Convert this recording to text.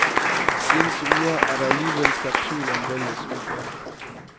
I de seneste uger er der alligevel skabt tvivl om valgets udfald.